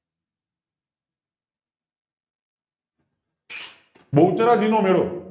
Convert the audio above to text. બહુચરાજી નો મેળો